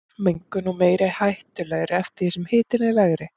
Mengunin er meiri og hættulegri eftir því sem hitinn er lægri.